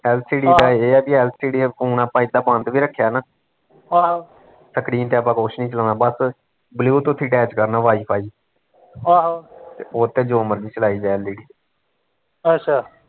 lcd ਦਾ ਏਹ ਆ ਵੀ LCD ਨਾਲ਼ ਜੇ phone ਆਪਾਂ ਬੰਦ ਵੀ ਰੱਖਿਆ ਨਾ screen ਤੇ ਆਪਾਂ ਕੁਸ਼ ਨੀ ਚਲਾਉਣਾ ਬਸ bluetooth ਹੀਂ attach ਕਰਨਾ ਵਾਈਫਾਈ ਤੇ ਓਸਤੇ ਜੋ ਮਰਜ਼ੀ ਚਲਾਈ ਜਾ led